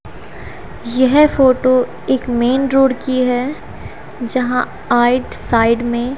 यह फोटो एक main road की है जहां आइट साइड में--